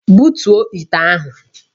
Butuo ite ahụ!